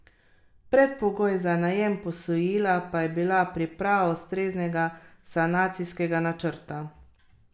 Predpogoj za najem posojila pa je bila priprava ustreznega sanacijskega načrta.